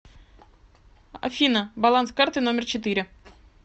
афина баланс карты номер четыре